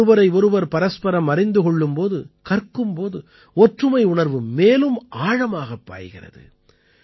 நாம் ஒருவரை ஒருவர் பரஸ்பரம் அறிந்து கொள்ளும் போது கற்கும் போது ஒற்றுமை உணர்வு மேலும் ஆழமாகப் பாய்கிறது